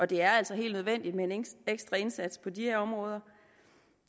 det er altså helt nødvendigt med en ekstra indsats på de her områder